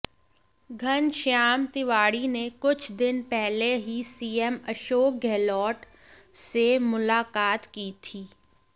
घनश्याम तिवाड़ी ने कुछ दिन पहले ही सीएम अशोक गहलोत से मुलाकात की थी